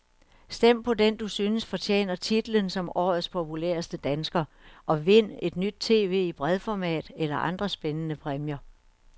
Stem på den du synes fortjener titlen som årets populæreste dansker, og vind et nyt tv i bredformat eller andre spændende præmier.